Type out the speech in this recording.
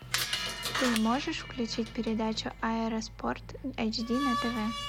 ты можешь включить передачу аэроспорт эйч ди на тв